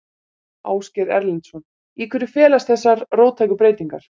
Ásgeir Erlendsson: Í hverju felast þessar róttæku breytingar?